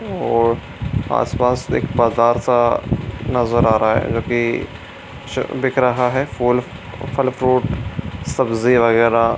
और आस पास एक बाज़ार सा नजर आ रहा है जो की दिख रहा है फूल फल फ्रूट सब्जी वगेरह --